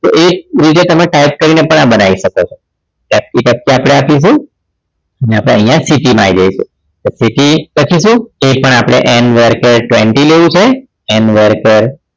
તો એ રીતે તમે type કરીને પણ આ બનાવી શકો છો આપણે આપીશું અને આપણે અહીંયા city માં આવી જઈશું city પછી શું એ પણ આપણે end work twenty લીધેલ છે end work